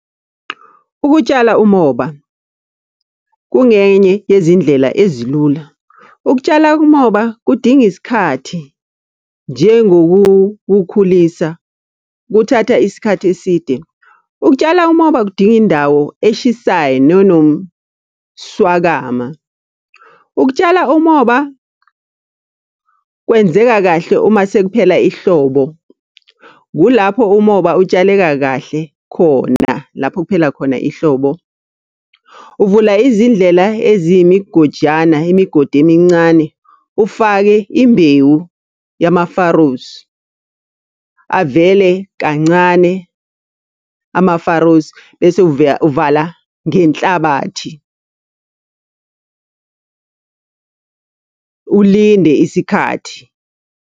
Ukutshala umoba, kungenye yezindlela ezilula. Ukutshala umoba kudinga isikhathi, njengokukhulisa kuthatha isikhathi eside. Ukutshala umoba kudinga indawo eshisayo nenomswakama. Ukutshala umoba kwenzeka kahle uma sekuphela ihlobo, kulapho umoba utshaleka kahle khona lapho kuphela khona ihlobo. Uvula izindlela eziyimigojana, imigodi emincane, ufake imbewu yama-farrows. Avele kancane ama-farrows, bese uvala ngenhlabathi, ulinde isikhathi.